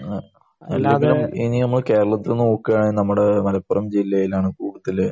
മ്മ്. ഇനി നമ്മൾ കേരളത്തിൽ നോക്കുകയാണെങ്കിൽ നമ്മുടെ മലപ്പുറം ജില്ലയിലാണ് കൂടുതൽ